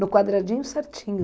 No quadradinho certinho.